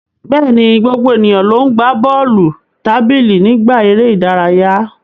Bẹ́ẹ̀ni, gbogbo ènìyàn ló ń gbá bọ́ọ̀lù tábìlì nígbà eré ìdárayá.